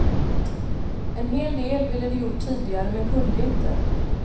En hel del ville de gjort tidigare men kunde inte.